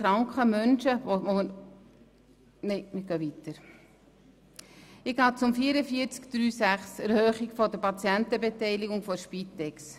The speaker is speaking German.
Ich komme zur Massnahme 44.3.6, der Erhöhung der Patientenbeteiligung der Spitex.